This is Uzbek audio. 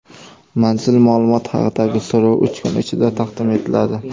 Manzil-ma’lumot haqidagi so‘rov uch kun ichida taqdim etiladi.